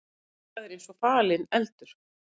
Eitthvað er eins og falinn eldur